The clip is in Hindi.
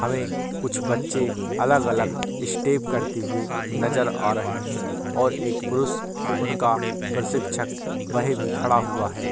हमें कुछ बच्चे अलग-अलग स्टेप करते हुए नजर आ रहे हैं और एक पुरुष उनका प्रशिक्षक वह भी खड़ा हुआ है।